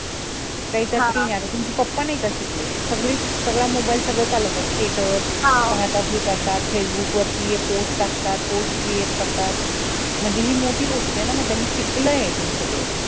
आता तुमचे papa नई का शिकले सगळं सगळा चालवतात status करतात facebook वर post टाकतात post create करतात म्हणजे हि मोठी गोष्ट ये ना